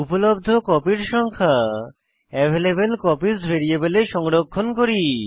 উপলব্ধ কপির সংখ্যা অ্যাভেইলেবলকপিস ভ্যারিয়েবলে সংরক্ষণ করি